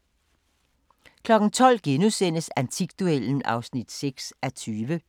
12:00: Antikduellen (6:20)*